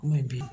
N bɛ bi